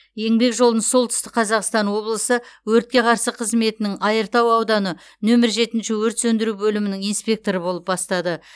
еңбек жолын солтүстік қазақстан облысы өртке қарсы қызметінің айыртау ауданы нөмір жетінші өрт сөндіру бөлімінің инспекторы болып бастады